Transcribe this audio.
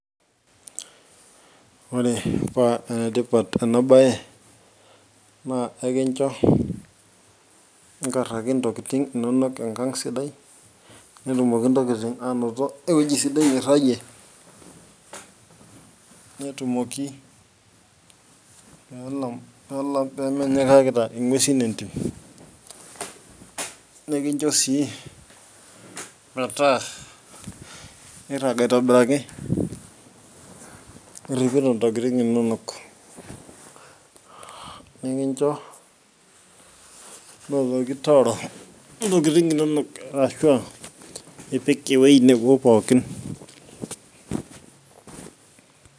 ore paa enetipat ena baye naa ekincho inkaraki ntokitin inonok enkang sidai netumoki ntokitin anoto ewueji sidai nirgie netumoki peelam, peelam pemenyikakita ing'uesin entim nekincho sii metaa irag aitobiraki iripito ntokitin inonok nikincho notoki tooro ntokitin inonok ashua ipik ewueji nebo pookin.